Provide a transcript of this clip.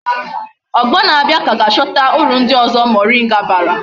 Ogbo na abia ka ga achota uru ndi ozo moringa bara